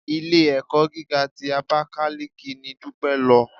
Ilé-ẹ̀kọ́ gíga ti Abakaliki ni Dúpẹ́ lọ.